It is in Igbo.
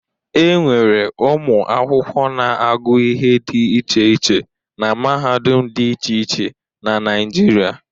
E nwere ụmụ akwụkwọ na-agụ ihe dị iche iche na mahadum dị iche iche na Naịjirịa.